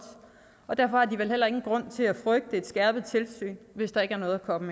og derfor har de vel heller ingen grund til at frygte et skærpet tilsyn hvis der ikke er noget at komme